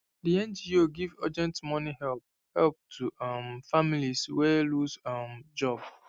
the ngo give urgent money help help to um families wey lose um job